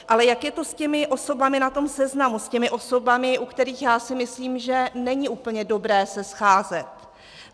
Ale jak je to s těmi osobami na tom seznamu, s těmi osobami, se kterými, já si myslím, že není úplně dobré se scházet?